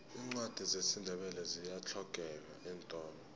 iincwadi zesindebele ziyahlogeka eentolo